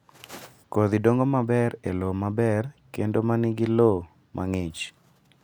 Kodhi dongo maber e lowo maber kendo ma nigi lowo mang'ich.